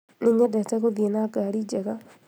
Nĩnyendete gũthiĩ na ngari njega